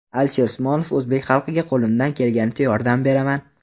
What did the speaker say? Alisher Usmonov: O‘zbek xalqiga qo‘limdan kelganicha yordam beraman.